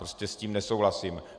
Prostě s tím nesouhlasím.